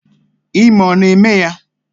Ime ọ na-eme ya?